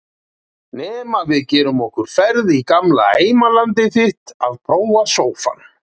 Nema við gerum okkur ferð í gamla heimalandið þitt að prófa sófann.